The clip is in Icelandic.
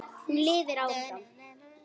Hún lifir áfram.